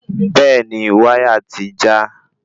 Bẹ́ẹ̀ni wáyà ti já